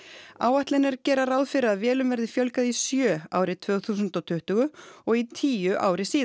áætlanir gera ráð fyrir að vélum verði fjölgað í sjö árið tvö þúsund og tuttugu og í tíu ári síðar